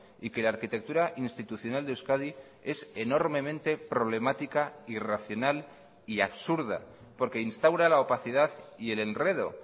y que la arquitectura institucional de euskadi es enormemente problemática irracional y absurda porque instaura la opacidad y el enredo